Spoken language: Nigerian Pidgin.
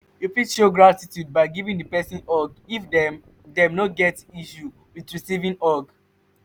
you fit show gratitude by giving di person hug if dem dem no get issue with recieving hug